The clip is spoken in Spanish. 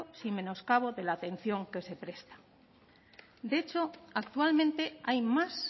sin menoscabo de la atención que se presta de hecho actualmente hay más